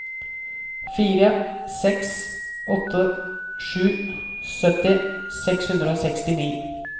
fire seks åtte sju sytti seks hundre og sekstini